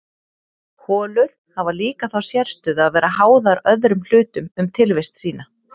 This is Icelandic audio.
holur hafa líka þá sérstöðu að vera háðar öðrum hlutum um tilvist sína